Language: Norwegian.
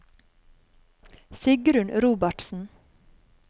Sigrunn Robertsen